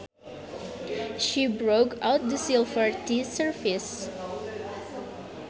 She brought out the silver tea service